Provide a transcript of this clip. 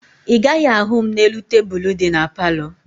Ị gaghị ahụ m n'elu tebulu dị na palọ